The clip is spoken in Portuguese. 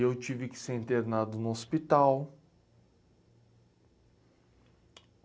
E eu tive que ser internado no hospital.